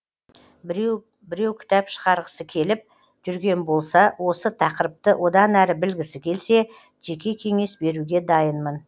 біреу біреу кітап шығарғысы келіп жүрген болса осы тақырыпты одан әрі білгісі келсе жеке кеңес беруге дайынмын